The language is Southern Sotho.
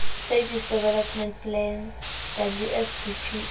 services development plan wsdp e